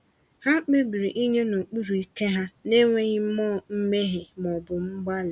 Ha kpebiri inye n’okpuru ike ha n’enweghị mmụọ mmehie ma ọ bụ mgbali.